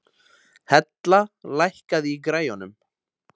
Hella, lækkaðu í græjunum.